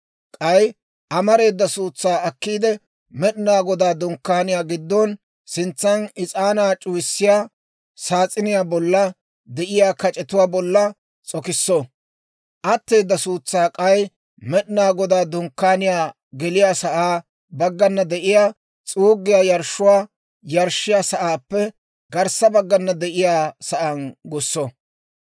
K'ay amareeda suutsaa akkiide, Med'inaa Godaa Dunkkaaniyaa giddon sintsan is'aanaa c'uwissiyaa saas'iniyaa bolla de'iyaa kac'etuwaa bolla s'okisso. Atteeda suutsaa k'ay Med'inaa Godaa Dunkkaaniyaa geliyaasaa baggana de'iyaa s'uuggiyaa yarshshuwaa yarshshiyaa sa'aappe garssa baggana de'iyaa sa'aan gusso.